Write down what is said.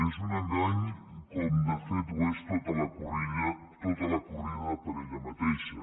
és un engany com de fet ho és tota la corrida per ella mateixa